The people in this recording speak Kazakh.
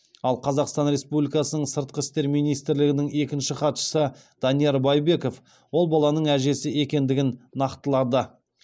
ал қазақстан республикасының сыртқы істер министрлігінің екінші хатшысы данияр байбеков ол баланың әжесі екендігін нақтылады